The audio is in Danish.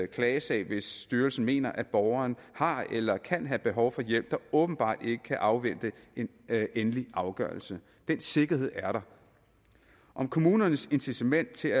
klagesag hvis styrelsen mener at borgeren har eller kan have behov for hjælp der åbenbart ikke kan afvente en endelig afgørelse den sikkerhed er der om kommunernes incitament til